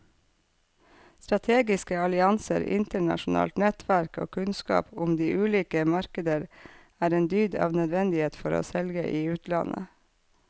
Strategiske allianser, internasjonalt nettverk og kunnskap om de ulike markeder er en dyd av nødvendighet for å selge i utlandet.